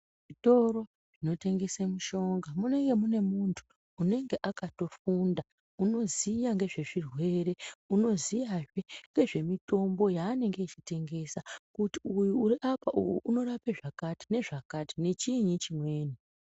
Zvitoro zvinotengese mushonga munenge muine muntu anenge akatofundu unoziya ngezvezvirwere unoziyazve ngezvemitombo yaanenge echitengesa, kuti uyu uriapa uyu unorapa zvakakati nezvakati nechiini chimweni.